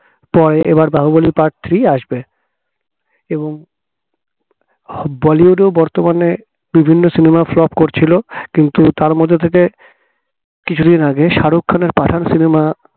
পরে এবার Baahubali part three আসবে এবং বলিউডে ও বর্তমানে বিভিন্ন cinema flop করছিল কিন্তু তার মধ্যে থেকে কিছুদিন আগে শাহরুখ খানের পাঠান cinema